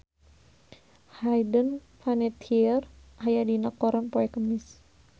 Hayden Panettiere aya dina koran poe Kemis